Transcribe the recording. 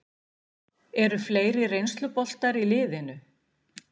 Eru fleiri reynsluboltar í liðinu?